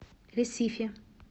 ресифи